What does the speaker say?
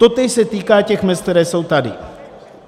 Totéž se týká těch mezd, které jsou tady.